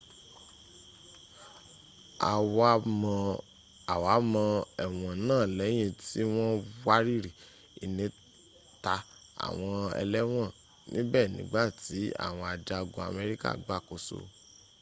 a wa mọ ẹ̀wọ̀n náà lẹ́yìn tí wọ́n wariri inita àwọn ëlẹ́wọ̀n níbẹ̀ nígbàtí awon ajagun amerika gbàkóso